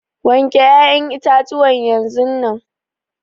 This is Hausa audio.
wanke ya'yan itatuwan yanzunnan.